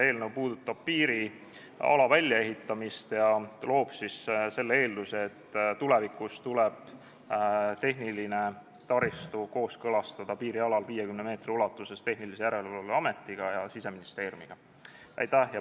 Eelnõu puudutab nimelt piiriala väljaehitamist, loob selleks eelduse, ning tulevikus tuleb tehniline taristu kooskõlastada piirialal 50 meetri ulatuses Tehnilise Järelevalve Ametiga ja ka Siseministeeriumiga.